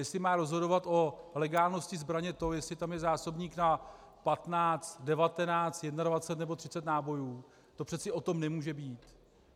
Jestli má rozhodovat o legálnosti zbraně to, jestli tam je zásobník na 15, 19, 21 nebo 30 nábojů, to přece o tom nemůže být.